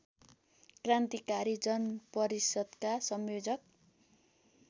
क्रान्तिकारी जनपरिषद्का संयोजक